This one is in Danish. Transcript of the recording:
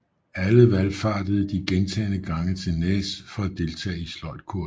Alle valfartede de gentagne gange til Nääs for at deltage i sløjdkurser